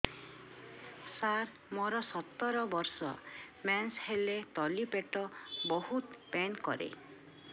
ସାର ମୋର ସତର ବର୍ଷ ମେନ୍ସେସ ହେଲେ ତଳି ପେଟ ବହୁତ ପେନ୍ କରେ